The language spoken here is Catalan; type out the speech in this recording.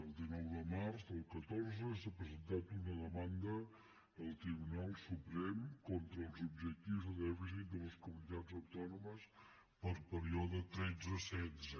el dinou de març del catorze s’ha presentat una demanda al tribunal suprem contra els objectius de dèficit de les comunitats autònomes per període tretze setze